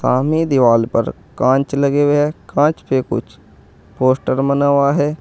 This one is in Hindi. सामने दीवाल पर कांच लगे हुए हैं कांच पे कुछ पोस्टर बना हुआ है।